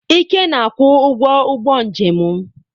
Ike na-akwụ ụgwọ ụgbọ njem m.